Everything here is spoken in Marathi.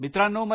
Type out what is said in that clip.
मित्रांनो